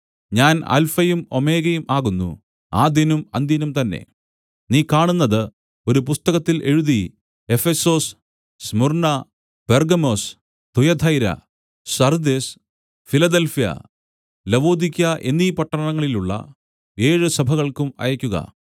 ഞാൻ അല്ഫയും ഓമേഗയും ആകുന്നു ആദ്യനും അന്ത്യനും തന്നെ നീ കാണുന്നത് ഒരു പുസ്തകത്തിൽ എഴുതി എഫെസൊസ് സ്മുർന്നാ പെർഗ്ഗമൊസ് തുയഥൈരാ സർദ്ദിസ് ഫിലദെൽഫ്യ ലവൊദിക്ക്യാ എന്നീപട്ടണങ്ങളിലുള്ള ഏഴ് സഭകൾക്കും അയയ്ക്കുക